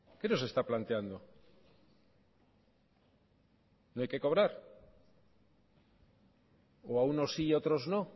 qué nos está planteando no hay que cobrar o a unos sí y a otros no